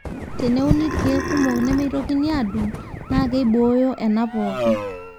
teneuni ilkiek kumok nemeitokini adung naa keibooyo ena pooki